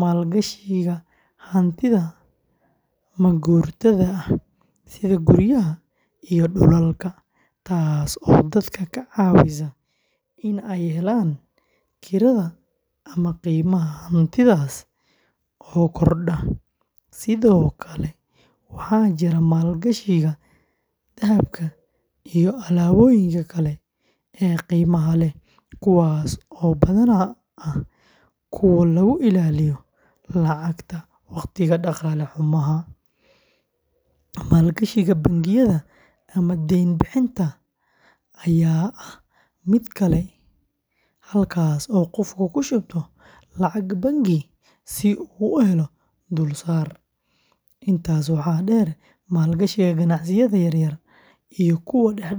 maalgashiga hantida maguurtada ah sida guryaha iyo dhulalka, taas oo dadka ka caawisa in ay helaan kirada ama qiimaha hantidaas oo kordha. Sidoo kale, waxaa jira maalgashiga dahabka iyo alaabooyinka kale ee qiimaha leh, kuwaas oo badanaa ah kuwo lagu ilaaliyo lacagta waqtiga dhaqaale xumo. Maalgashiga bangiyada ama deyn-bixinta ayaa ah mid kale, halkaas oo qofku ku shubto lacag bangi si uu u helo dulsaar. Intaa waxaa dheer, maalgashiga ganacsiyada yaryar iyo kuwa dhexe ayaa sidoo kale muhiim ah.